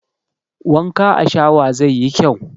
Wanka a shawa zai yi kyau